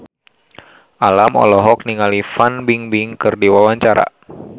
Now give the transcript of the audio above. Alam olohok ningali Fan Bingbing keur diwawancara